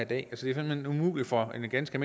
det er simpelt hen umuligt for en ganske